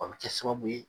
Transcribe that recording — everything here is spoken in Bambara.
O bɛ kɛ sababu ye